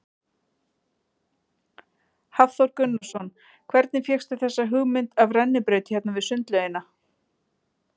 Hafþór Gunnarsson: Hvernig fékkstu þessa hugmynd af rennibraut hérna við sundlaugina?